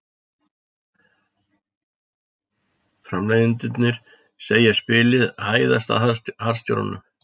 Framleiðendurnir segja spilið hæðast að harðstjórunum